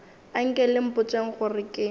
anke le mpotšeng gore ke